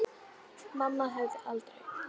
Mamma hefði aldrei.